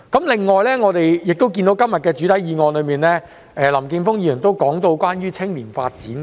此外，在今天的原議案中，林健鋒議員亦提到青年發展。